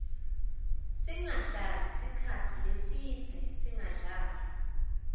singahlali sikhatsi lesidze singadli